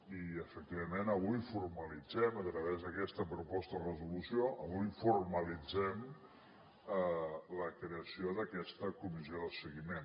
i efectivament avui formalitzem a través d’aquesta proposta de resolució avui formalitzem la creació d’aquesta comissió de seguiment